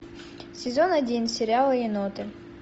сезон один сериала еноты